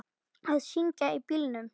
Að syngja í bílnum.